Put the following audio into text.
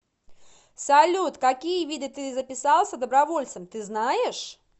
салют какие виды ты записался добровольцем ты знаешь